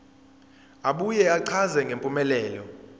abuye achaze ngempumelelo